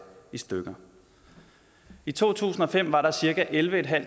i stykker i to tusind og fem var der cirka ellevetusinde og